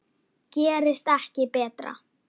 Gerist ekki betra.